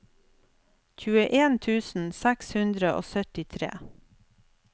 tjueen tusen seks hundre og syttitre